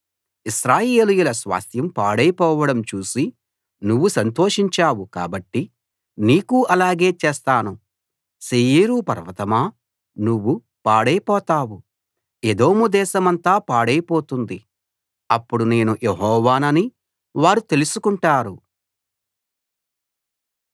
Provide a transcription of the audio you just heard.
ఇశ్రాయేలీయుల స్వాస్థ్యం పాడైపోవడం చూసి నువ్వు సంతోషించావు కాబట్టి నీకూ అలాగే చేస్తాను శేయీరు పర్వతమా నువ్వు పాడైపోతావు ఎదోం దేశమంతా పాడైపోతుంది అప్పుడు నేను యెహోవానని వారు తెలుసుకుంటారు